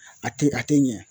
A tɛ a tɛ ɲɛ